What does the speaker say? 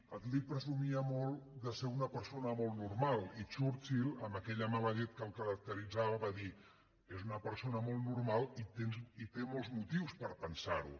attlee presumia molt de ser una persona molt normal i churchill amb aquella mala llet que el caracteritzava va dir és una persona molt normal i té molts motius per pensar ho